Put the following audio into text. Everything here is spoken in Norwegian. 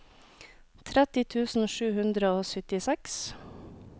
tretti tusen sju hundre og syttiseks